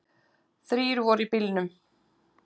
Þrír voru í bílnum.